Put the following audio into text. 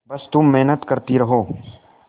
बस तुम मेहनत करती रहो